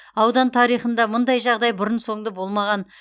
аудан тарихында мұндай жағдай бұрын соңды болмаған